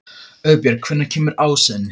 Auðbjörg, hvenær kemur ásinn?